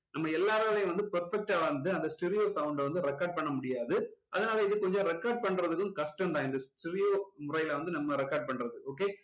நம்ம எல்லாராலையும் வந்து perfect டா வந்து அந்த stereo sound அ வந்து record பண்ண முடியாது அதுனால இது கொஞ்சம் record பண்றதுக்கு கஷ்டம் தான் இந்த stereo முறையுல வந்து நம்ம record பண்றது